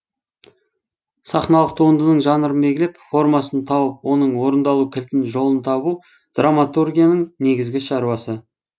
сахналық туындының жанрын белгілеп формасын тауып оның орындалу кілтін жолын табу драматургияның негізгі шаруасы